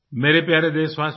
मेरे प्यारे देशवासियो